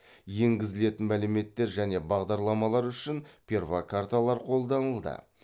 енгізілетін мәліметтер және бағдарламалар үшін перфокарталар қолданылды